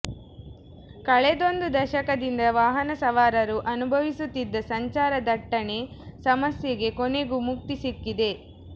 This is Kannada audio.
ಕಳೆದೊಂದು ದಶಕದಿಂದ ವಾಹನ ಸವಾರರು ಅನುಭವಿಸುತ್ತಿದ್ದ ಸಂಚಾರ ದಟ್ಟಣೆ ಸಮಸ್ಯೆಗೆ ಕೊನೆಗೂ ಮುಕ್ತಿ ಸಿಕ್ಕಿದೆ